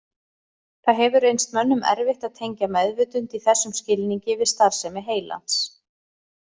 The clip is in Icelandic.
Það hefur reynst mönnum erfitt að tengja meðvitund í þessum skilningi við starfsemi heilans.